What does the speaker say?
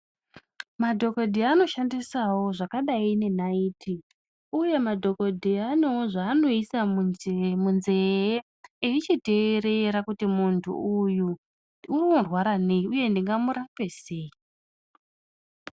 Madhokodheya anoshandisawo zvakadai nenaiti uye madhokodheya anewo zvaanoise munzee eichiteerera kuti muntu uyu unorwara neyi uye ndingamurape sei.